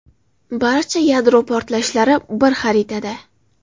Barcha yadro portlashlari bir xaritada.